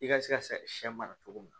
I ka se ka sɛ mara cogo min